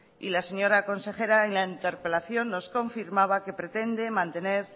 y la señora consejera en la interpelación nos confirmaba que pretende mantener